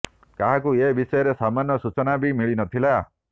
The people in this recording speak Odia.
କାହାକୁ ଏ ବିଷୟରେ ସାମାନ୍ୟ ସୂଚନା ବି ମିଳି ନଥିଲା